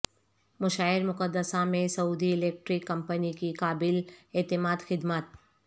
مشاعر مقدسہ میں Saudi Electric Company کی قابل اعتماد خدمات